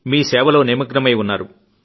మీ సేవలో నిమగ్నమయి ఉన్నారు